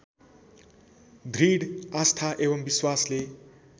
दृढ आस्था एवं विश्वासले